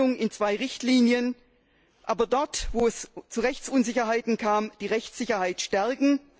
die Trennung in zwei Richtlinien aber dort, wo es zu Rechtsunsicherheiten kam, gilt es, die Rechtssicherheit zu stärken.